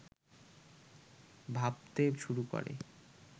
ভাবতে শুরু করে